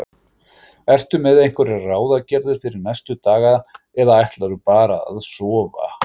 Ertu með einhverjar ráðagerðir fyrir næstu daga eða ætlarðu bara að sofa?